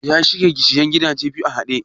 Ya shirya sayen gidaje biyun a haɗe ne?